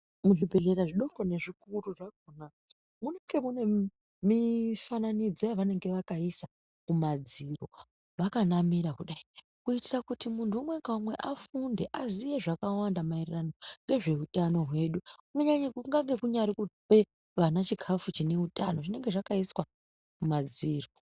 Muzvibhedhleya zvidoko nezvikuru zvakona munenge mune mifananidzo yavakaisa kumadziro vakanamira kudai kuitira kuti muntu umwe ngaumwe afunde aziye zvakawanda maererano ngezveutano hwedu kunyange kuri kupe vana chikafu chine utano zvinenge zvakaiswa kumadziro.